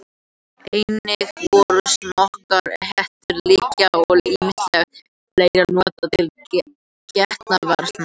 Einnig voru smokkar, hettur, lykkjur og ýmislegt fleira notað til getnaðarvarna.